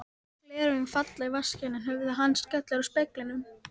Gleraugun falla í vaskinn er höfuð hans skellur á speglinum.